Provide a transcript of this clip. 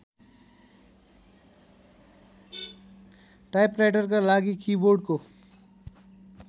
टाइपराइटरका लागि किबोर्डको